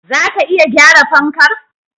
Zaka iya gyara fankar?